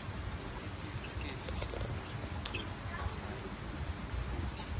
isitifikhethi sokuzitlolisa nayikuthi